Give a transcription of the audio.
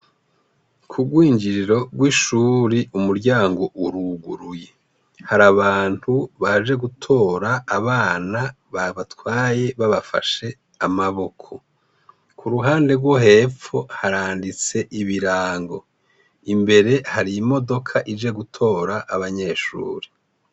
Kurwinjiriro rw' ishuri umuryango uruguruye, har'abantu baje gutora abana babatwaye babafashe amaboko, kuruhande rwo hepfo haranditse ibirango, imbere har' imodok' ije gutor' abanyeshure.